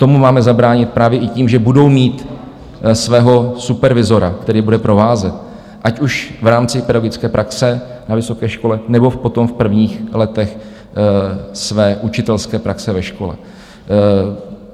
Tomu máme zabránit právě i tím, že budou mít svého supervizora, který bude provázet, ať už v rámci pedagogické praxe na vysoké škole, nebo potom v prvních letech jeho učitelské praxe ve škole.